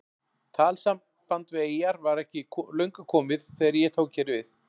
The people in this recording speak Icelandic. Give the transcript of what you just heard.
Talsamband við eyjar var ekki löngu komið þegar ég tók hér við.